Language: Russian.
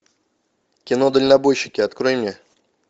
кино дальнобойщики открой мне